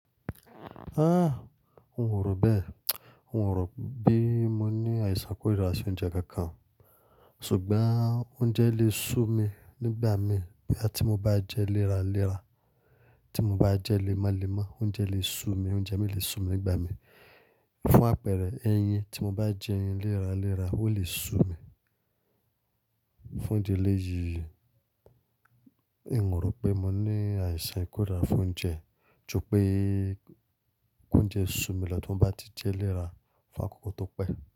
Ah! N o rò bẹ́ẹ̀. Orò pé mo ní àìsàn ikórìíra sí oúnjẹ kankan. Ṣùgbọ́n oúnjẹ lè sú mi nígbà mii boya tí mo bá jẹ́ e léra léra, tí mo bá jẹ́ e lemolẹ́mo, oúnjẹ lè sú mi, oúnjẹ mii lè sú mi nígbà mii. Fún àpẹẹrẹ ẹyin, tí mo bá jẹ ẹyin léra léra, ó lè sú mi. Fún idi eléyìí, n o rò pé mo ní àìsàn ikórìíra fún oúnjẹ, ju pẹ́ koúnjẹ sú mi lọ tí mo bá ti jẹ́ léra fún àkókò tó pẹ́